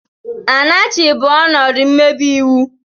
Anarchy bụ ọnọdụ mmebi iwu.